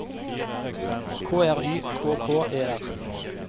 K R Y K K E R